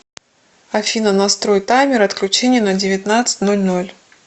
афина настрой таймер отключения на девятнадцать ноль ноль